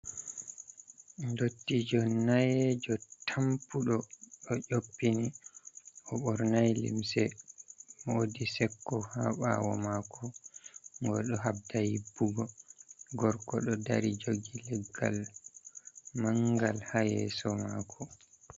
Dottijo nayejo tampuɗo ɗo nyoɓɓi ,o bornai limse woɗi sekko ha ɓawo mako ,oɗo haɓɗa hiɓɓugo gorko ɗo ɗari jogi leggal mangal ha yeso mako.